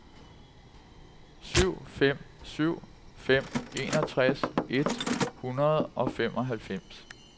syv fem syv fem enogtres et hundrede og femoghalvfems